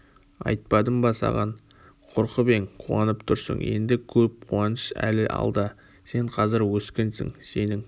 айтпадым ба саған қорқып ең қуанып тұрсың енді көп қуаныш әлі алда сен қазір өскінсің сенің